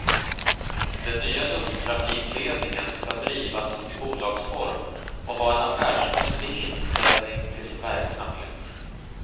Den nya lufttrafikledningen ska drivas i bolagsform och ha en affärsmässig inställning till sin verksamhet.